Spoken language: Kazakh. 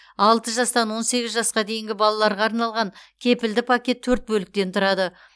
алты жастан он сегіз жасқа дейінгі балаларға арналған кепілді пакет төрт бөліктен тұрады